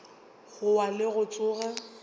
go wa le go tsoga